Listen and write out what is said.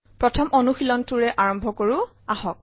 প্ৰথম অনুশীলনটোৰে আৰম্ভ কৰো আহক